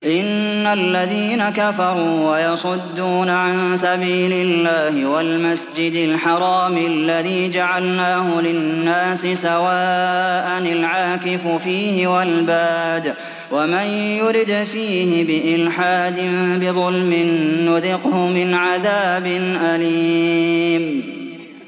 إِنَّ الَّذِينَ كَفَرُوا وَيَصُدُّونَ عَن سَبِيلِ اللَّهِ وَالْمَسْجِدِ الْحَرَامِ الَّذِي جَعَلْنَاهُ لِلنَّاسِ سَوَاءً الْعَاكِفُ فِيهِ وَالْبَادِ ۚ وَمَن يُرِدْ فِيهِ بِإِلْحَادٍ بِظُلْمٍ نُّذِقْهُ مِنْ عَذَابٍ أَلِيمٍ